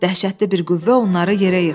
Dəhşətli bir qüvvə onları yerə yıxdı.